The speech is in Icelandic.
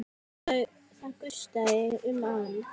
Það gustaði um hann.